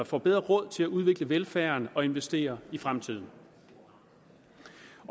får bedre råd til at udvikle velfærden og investere i fremtiden